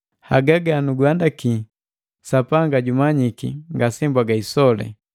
Haga ganunhandaki, Sapanga jumanyiki, ngasembwaga isole.